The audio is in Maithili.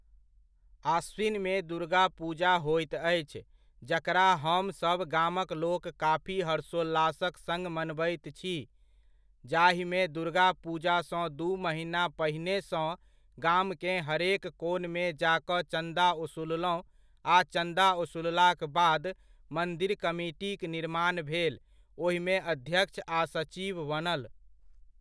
आश्विनमे दुर्गा पुजा होइत अछि जकरा हमर सब गमकलोक काफी हर्षोल्लासक सङ्ग मनबैत छी, जाहिमे दुर्गा पूजासँ दू महीना पहिनेसँ गामकेँ हरेक कोनमे जा कऽ चन्दा ओसूललहुँ आ चन्दा वसूललाक बाद मन्दिर कमिटीक निर्माण भेल ओहिमे अध्यक्ष आ सचिव बनल।